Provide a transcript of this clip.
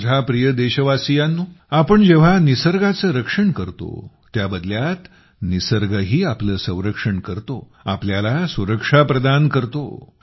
माझ्या प्रिय देशवासियांनो जेव्हा आपण निसर्गाचे रक्षण करतो त्या बदल्यात निसर्गही आपले संरक्षण करतो आपल्याला सुरक्षा प्रदान देतो